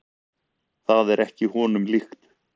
Það er ekki honum líkt.